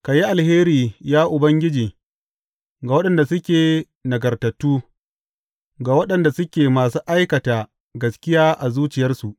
Ka yi alheri, ya Ubangiji, ga waɗanda suke nagartattu, ga waɗanda suke masu aikata gaskiya a zuciyarsu.